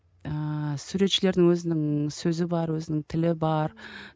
ыыы суретшілердің өзінің сөзі бар өзінің тілі бар